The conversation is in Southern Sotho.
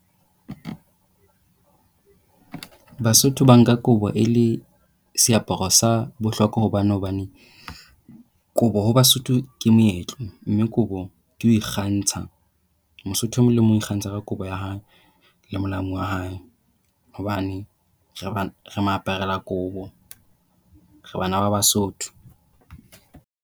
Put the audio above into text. Basotho ba nka kobo e le seaparo sa bohlokwa hobane hobane kobo ho Basotho ke moetlo, mme kobo ke ho ikgantsha. Mosotho e mong le e mong o ikgantsha ka kobo ya hae le molamu ya hae. Hobane re maaparelakobo, re bana ba Basotho.